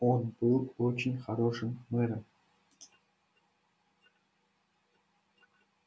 он был очень хорошим мэром